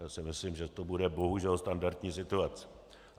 Já si myslím, že to bude, bohužel, standardní situace.